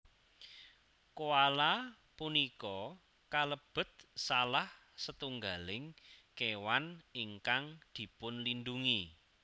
Koala punika kalebet salah setunggaling kéwan ingkang dipunlindungi